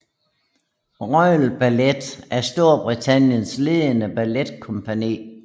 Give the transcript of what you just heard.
Royal Ballet er Storbritanniens ledende balletkompagni